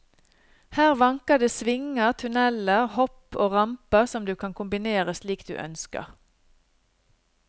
Her vanker det svinger, tunneler, hopp og ramper som du kan kombinere slik du ønsker.